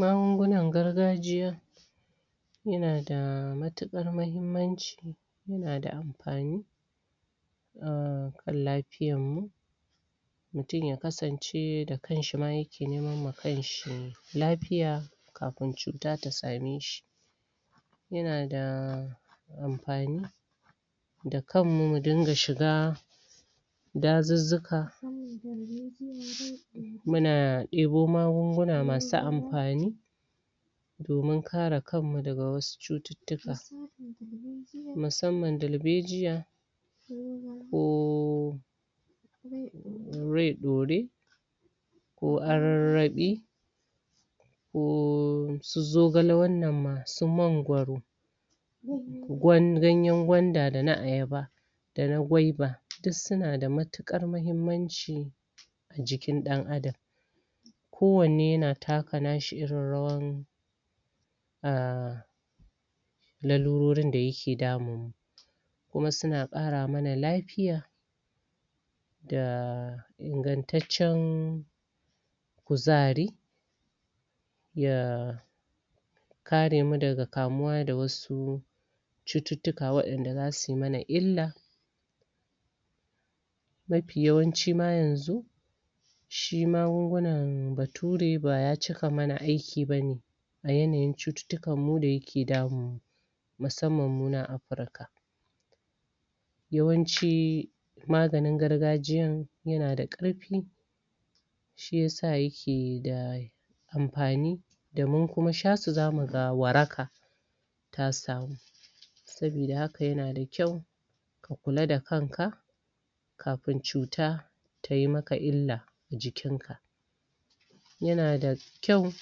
Magungunan gargajiya Yana da matukar mahimmanci Yana da amfani A kan lafiyar mu, Mutum ya kasance da kanshi ma yake neman ma kanshi Lafiya Kafin cuta ta same shi Yana da... Amfani, Da kanmu mu dinga shiga.. Dajujjuka Muna debo magunguna masu amfani, Domin kare kanmu daga wasu cuttutuka Musamman darbejiya Koh Wai daure Ko Ayaryadi Ko su zokale wannan ma Ganyen gwanda dana ayaba Dana gwaiba duk suna da matukar mahimmanci A jikin dan adam Kowane yana taka nashi irin rawai Ah.. Larururin da suke damun Wasu na kara mana lafiya Dah.... Ingantaccen.. Kuzari Ya.. Ya kare mu daga kamuwa da wasu Cuttutuka da zasu mana illa Mafi yawanci ma yanzu Shi magungunan bature baya cika yi mana aiki A yanayin cuttutukan mu da yake damun mu Musamman munan afirika Yawanci Maganin gargajiyan Yana da karfi Shi yasa yake da... Amfani Da mun kuma shasu za muga waraka Ta samu Sabida haka yana da kwau Ka kula da kanka Kafin cuta Tayi maka illa Jikin ka Yana da Kwau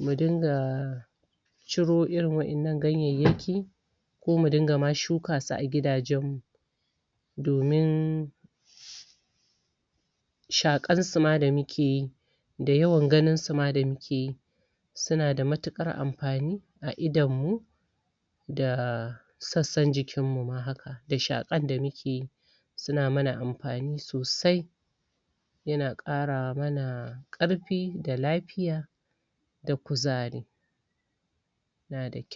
Mu dinga CIro irin wadannan ganyen Ko muma dinga shuka suma a gidajen mu Domin Shakar suma da muke yi Da yawan ganin su ma da muke Suna da matukar amfani, a idonmu Da.. Sassan jikinmu ma haka Da shakar da mukeyi Suna mana amfani sosai Yana kara mana Karfi da lafiya, Da kuzari Na da kwau